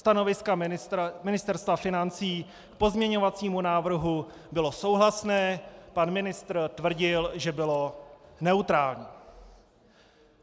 Stanovisko Ministerstva financí k pozměňovacímu návrhu bylo souhlasné, pan ministr tvrdil, že bylo neutrální.